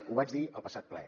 ho vaig dir el passat ple